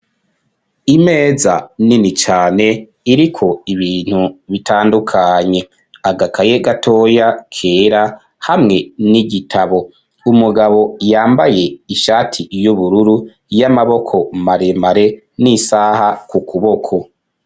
Imeza nini cane iriko ibintu bitandukanye agakaye gatoya kera hamwe ni'igitabo umugabo yambaye ishati y'ubururu y'amaboko maremare n'isaha ku kuboko.